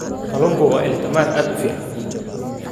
Kalluunku waa il tamar aad u fiican.